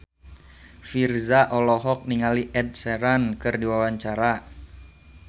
Virzha olohok ningali Ed Sheeran keur diwawancara